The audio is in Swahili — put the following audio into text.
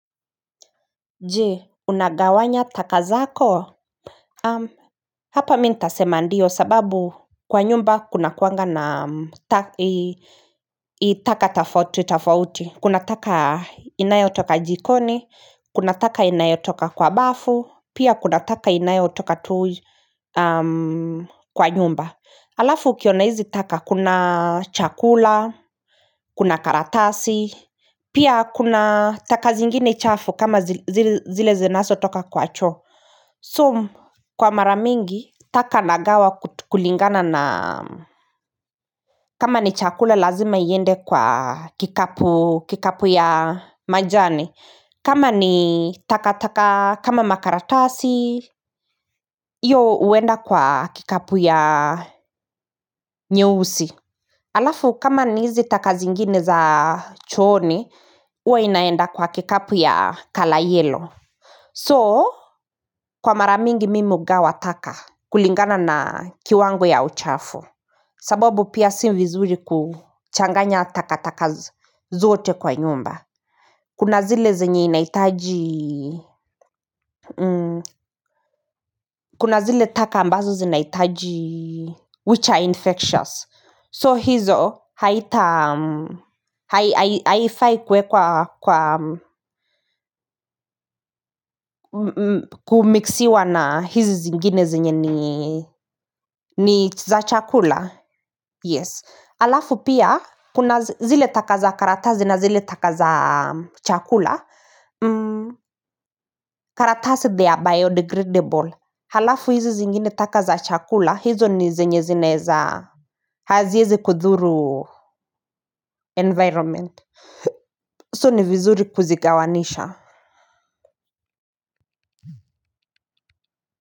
Je unagawanya taka zako Hapa mimi nitasema ndio sababu kwa nyumba kuna kuwaga na taka tofauti tofauti. Kuna taka inayo toka jikoni, kuna taka inayo toka kwa bafu, pia kuna taka inayo toka tuju kwa nyumba Alafu ukiona hizi taka kuna chakula, kuna karatasi, pia kuna taka zingine chafu kama zile zinazo toka kwa choo. So kwa mara mingi taka nagawa kulingana na kama ni chakula lazima iende kwa kikapu ya majani. Kama ni taka taka kama makaratasi, hiyo huenda kwa kikapu ya nyeusi. Alafu kama ni hizi taka zingine za chooni huwa inaenda kwa kikapu ya kala yellow So kwa mara mingi mimi hugawa taka kulingana na kiwango ya uchafu sababu pia sio vizuri kuchanganya taka taka zote kwa nyumba Kuna zile zenye inahitaji Kuna zile taka ambazo zinaitaji Which are infectious So hizo haifai kuwekwa kwa kumixiwa na hizi zingine zenye ni za chakula. Yes. Halafu pia, kuna zile taka za karatazi na zile taka za chakula. Karatazi, they are biodegradable. Halafu hizi zingine taka za chakula, hizo ni zenye zinaweza haziwezi kudhuru environment. So ni vizuri kuzigawanisha.